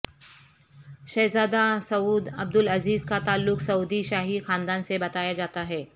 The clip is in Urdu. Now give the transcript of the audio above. شہزادہ سعودعبدالعزیز کاتعلق سعودی شاہی خاندان سےبتایا جاتا ہے